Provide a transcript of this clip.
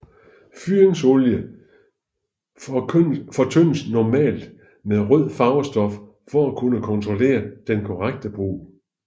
Fyringsolien fortyndes normalt med røde farvestoffer for at kunne kontrollere den korrekte brug